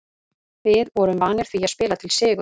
Við vorum vanir því að spila til sigurs.